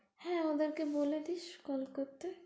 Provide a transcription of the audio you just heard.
হ্যাঁ ওদের কে বলে দিস call করতে।